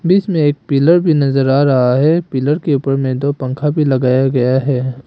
इसमें एक पिलर भी नजर आ रहा है पिलर के ऊपर में दो पंखा भी लगाया गया है।